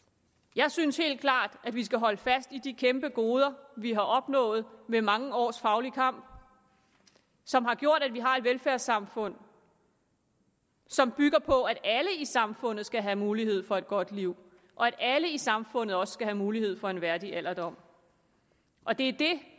jeg synes helt klart at vi skal holde fast i de kæmpe goder vi har opnået ved mange års faglig kamp som har gjort at vi har et velfærdssamfund som bygger på at alle i samfundet skal have mulighed for et godt liv og at alle i samfundet også skal have mulighed for en værdig alderdom og det er det